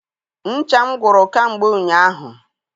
Ncha m gwụrụ kamgbe ụnyaahụ